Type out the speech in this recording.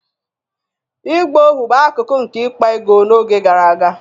ịgba ohu bụ akụkụ nke ịkpa ego n'oge gara aga